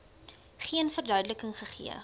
geen verduideliking gegee